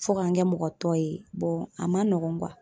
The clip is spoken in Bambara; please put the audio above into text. Fo ka n kɛ mɔgɔ tɔ ye a man nɔgɔn .